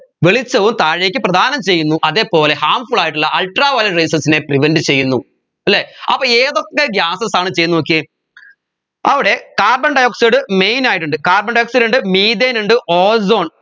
വെളിച്ചവും താഴേക്ക് പ്രധാനം ചെയ്യുന്നു അതേപോലെ harmful ആയിട്ടുള്ള ultraviolet rayses നെ prevent ചെയ്യുന്നു അല്ലെ അപ്പോ ഏതൊക്കെ gases ആണ് ചെയ്യുന്നെ നോക്കിയേ അവിടെ carbon dioxide main ആയിട്ടുണ്ട് carbon dioxide ഉണ്ട് methane ഉണ്ട് ozone